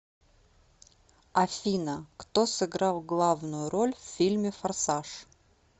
афина кто сыграл главную роль в фильме форсаж